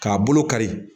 K'a bolo kari